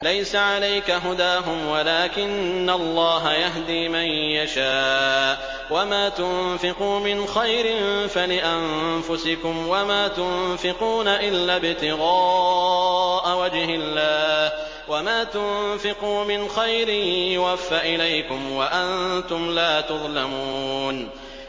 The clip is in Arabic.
۞ لَّيْسَ عَلَيْكَ هُدَاهُمْ وَلَٰكِنَّ اللَّهَ يَهْدِي مَن يَشَاءُ ۗ وَمَا تُنفِقُوا مِنْ خَيْرٍ فَلِأَنفُسِكُمْ ۚ وَمَا تُنفِقُونَ إِلَّا ابْتِغَاءَ وَجْهِ اللَّهِ ۚ وَمَا تُنفِقُوا مِنْ خَيْرٍ يُوَفَّ إِلَيْكُمْ وَأَنتُمْ لَا تُظْلَمُونَ